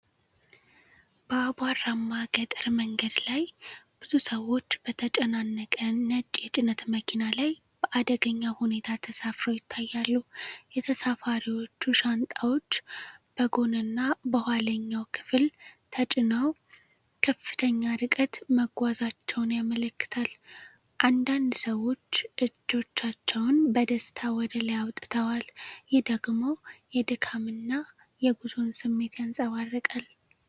በአቧራማ ገጠር መንገድ ላይ፣ ብዙ ሰዎች በተጨናነቀ ነጭ የጭነት መኪና ላይ በአደገኛ ሁኔታ ተሳፍረው ይታያሉ። የተሳፋሪዎቹ ሻንጣዎች በጎንና በኋለኛው ክፍል ተጭነው ከፍተኛ ርቀት መጓዛቸውን ያመለክታል። አንዳንድ ሰዎች እጆቻቸውን በደስታ ወደ ላይ አውጥተዋል፤ ይህ ደግሞ የድካምና የጉዞን ስሜት ያንጸባርቃል።